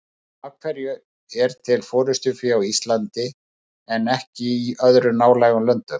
En af hverju er til forystufé á Íslandi en ekki í öðrum nálægum löndum?